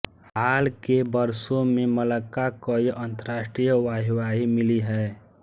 हाल के वर्षों में मलक्का कई अंतरराष्ट्रीय वाहवाही मिली है